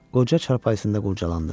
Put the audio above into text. Qoca çarpayısında qurdalandı.